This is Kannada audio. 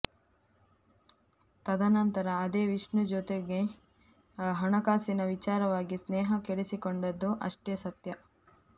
ತದನಂತರ ಅದೇ ವಿಷ್ಣು ಜೊತೆಗೂ ಹಣಕಾಸಿನ ವಿಚಾರವಾಗಿ ಸ್ನೇಹ ಕೆಡಿಸಿಕೊಂಡದ್ದೂ ಅಷ್ಟೇ ಸತ್ಯ